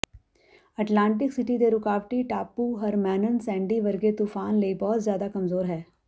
Atlantic City ਦੇ ਰੁਕਾਵਟੀ ਟਾਪੂ ਹਰਮਨੈਨ ਸੈਂਡੀ ਵਰਗੇ ਤੂਫਾਨ ਲਈ ਬਹੁਤ ਜ਼ਿਆਦਾ ਕਮਜ਼ੋਰ ਹੈ